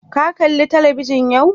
Ka kala talabijin yau?